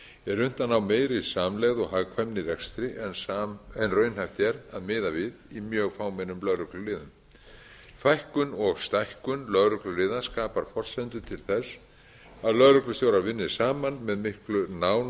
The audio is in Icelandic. er unnt að ná meiri samlegð og hagkvæmni í rekstri en raunhæft er að miða við í mjög fámennum lögregluliðum fækkun og stækkun lögregluliða skapar forsendu til að lögreglustjórar vinni saman með miklu